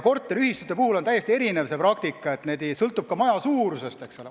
Korteriühistute puhul on praktika täiesti erinev, palju sõltub ka maja suurusest, eks ole.